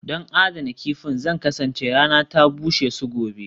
Don adana kifin, Zan kasance rana ta bushe su gobe